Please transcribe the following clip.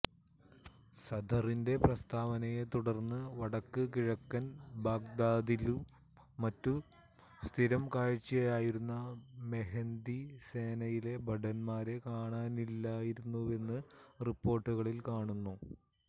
സദറിന്റെ പ്രസ്താവനയെ തുടര്ന്ന് വടക്ക് കിഴക്കന് ബാഗ്ദാദിലും മറ്റും സ്ഥിരം കാഴ്ചയായിരുന്ന മെഹ്ദി സേനയിലെ ഭടന്മാരെ കാണാനില്ലായിരുന്നുവെന്ന് റിപ്പോര്ട്ടുകളില് കാണുന്നു